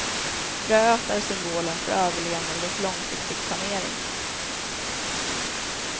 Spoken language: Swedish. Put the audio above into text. Fröet är symbolen för överlevnad och långsiktig planering.